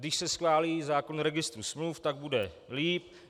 Když se schválí zákon o registru smluv, tak bude lépe.